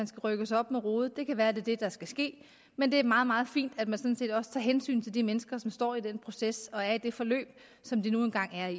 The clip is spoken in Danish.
skal rykkes op med rode det kan være at det er det der skal ske men det er meget meget fint at man sådan set også tager hensyn til de mennesker som skal stå den proces igennem og er i det forløb som de nu engang er i